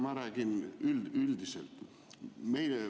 Ma räägin üldiselt.